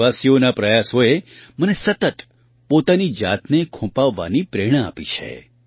દેશવાસીઓના આ પ્રયાસોએ મને સતત પોતાની જાતને ખૂંપાવવાની પ્રેરણા આપી છે